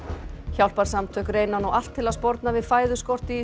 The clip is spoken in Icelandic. hjálparsamtök reyna nú allt til að sporna við fæðuskorti í